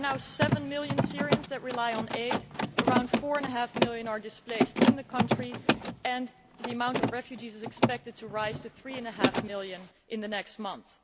There are now seven million Syrians who rely on aid, around four and half million are displaced in the country and the number of refugees is expected to rise to three and a half million in the next month.